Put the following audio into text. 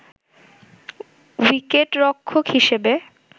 উইকেটরক্ষক হিসেবে